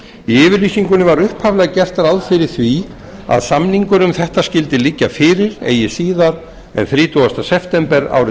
yfirlýsingunni var upphaflega gert ráð fyrir því að samningur um þetta skyldi liggja fyrir eigi síðar en þrítugasta september árið